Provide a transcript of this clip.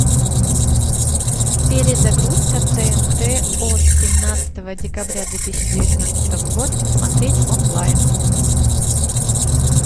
перезагрузка тнт от семнадцатого декабря две тысячи девятнадцатого года смотреть онлайн